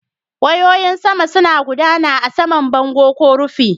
Wayoyin saman suna gudana a saman bango ko rufi.